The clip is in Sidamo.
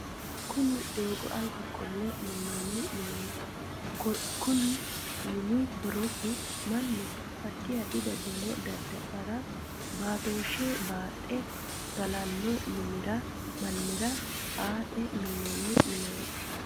Kunni dooga alba qole minoonni mineeti konni minni horosi Manu addi addi dadalo dada'lara baatooshe baaxe galano mannira aate minoonni mineeti.